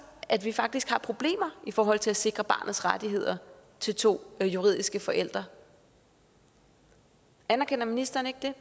at vi faktisk har problemer i forhold til at sikre barnets rettigheder til to juridiske forældre anerkender ministeren ikke